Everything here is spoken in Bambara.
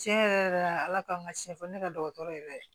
Tiɲɛ yɛrɛ yɛrɛ la ala k'an ka siɲɛfɔ ne ka dɔgɔtɔrɔ yɛrɛ ye